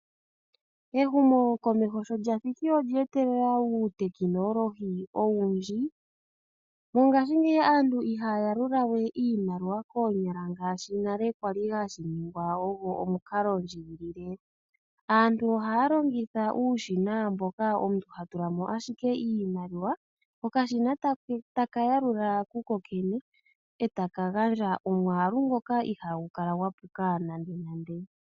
Ehumo komeho sho lyathiki olye etelela uutekinolohi owundji, nomo ngaashi ngeyi aantu ihaya yalulawe iimaliwa koonyala ngashi nale kwali hashi ningwa onga omukalo ndjigilile. Aantu ohaya longitha uushina mboka omuntu hatulamo ashike iimaliwa kokashina taka yalula kukokene, etakaka gandja omwaalu ngoka ihagu puka nande nande.